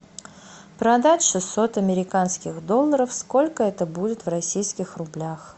продать шестьсот американских долларов сколько это будет в российских рублях